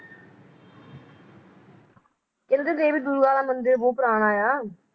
ਕਹਿੰਦੇ ਦੇਵੀ ਦੁਰਗਾ ਮੰਦਿਰ ਬਹੁਤ ਪੁਰਾਣਾ ਆ